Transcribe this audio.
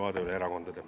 Aitäh teile!